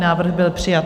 Návrh byl přijat.